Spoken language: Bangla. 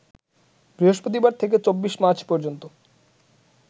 বৃহস্পতিবার থেকে ২৪ মার্চ পর্যন্ত